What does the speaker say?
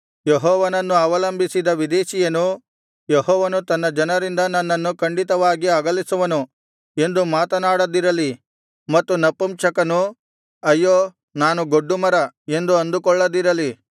ಯೆಹೋವನನ್ನು ಅವಲಂಬಿಸಿದ ವಿದೇಶೀಯನು ಯೆಹೋವನು ತನ್ನ ಜನರಿಂದ ನನ್ನನ್ನು ಖಂಡಿತವಾಗಿ ಅಗಲಿಸುವನು ಎಂದು ಮಾತನಾಡದಿರಲಿ ಮತ್ತು ನಪುಂಸಕನು ಅಯ್ಯೋ ನಾನು ಗೊಡ್ಡುಮರ ಎಂದು ಅಂದುಕೊಳ್ಳದಿರಲಿ